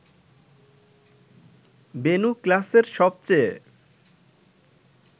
বেণু ক্লাসের সবচেয়ে